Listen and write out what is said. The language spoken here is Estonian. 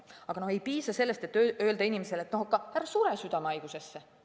Aga ei piisa sellest, kui öelda inimesele, et ära sure südamehaigusesse.